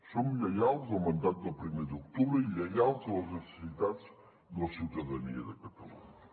som lleials al mandat del primer d’octubre i lleials a les necessitats de la ciutadania de catalunya